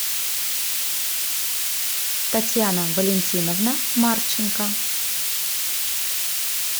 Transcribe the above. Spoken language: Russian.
татьяна валентиновна марченко